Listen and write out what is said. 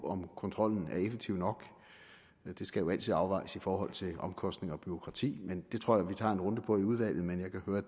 om kontrollen er effektiv nok det skal jo altid afvejes i forhold til omkostninger og bureaukrati men det tror jeg vi tager en runde om i udvalget men jeg kan høre